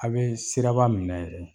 A' bɛ siraba minɛ yɛrɛ